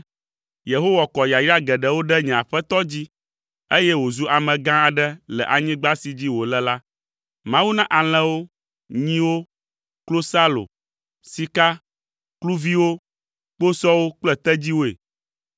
Yehowa kɔ yayra geɖewo ɖe nye aƒetɔ dzi, eye wòzu amegã aɖe le anyigba si dzi wòle la. Mawu na alẽwo, nyiwo, klosalo, sika, kluviwo, kposɔwo kple tedziwoe.